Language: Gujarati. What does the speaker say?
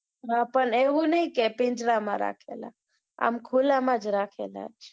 હા પણ એવું નહિ કે પિંજારા માં રાખેલા આમ ખુલ્લા માં જ રાખેલા